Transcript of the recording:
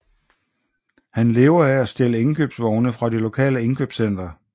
Han lever af at stjæle indkøbsvogne fra det lokale indkøbscenter